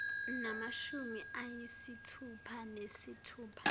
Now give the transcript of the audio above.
namashumi ayisithupha nesithupha